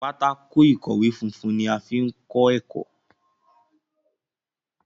Pátákó ìkọ̀wé fúnfún ní a fí kò ẹkọ.